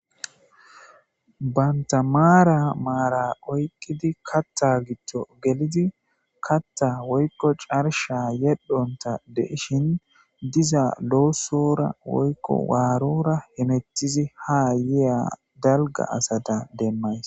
Banta mara mara oyikidi katha katha gido gelidi katha woyiko carisha yedhonita de'ishini sora woy warora hemetiszi haya daliga asata demayis